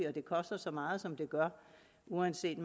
og det koster så meget som det gør uanset